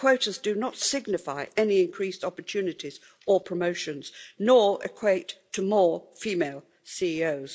Quotas do not signify any increased opportunities or promotions, nor equate to more female CEOs.